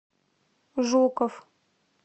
жуков